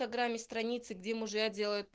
программе страницы где мужья делают